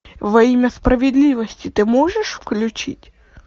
во имя справедливости ты можешь включить